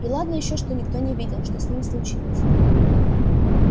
и ладно ещё что никто не видел что с ним случилось